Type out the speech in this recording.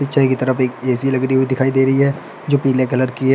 पीछे की तरफ एक ए_सी लग रही हुई दिखाई दे रही है जो पीले कलर की है।